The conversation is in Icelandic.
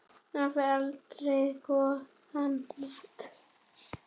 Afi eldaði góðan mat.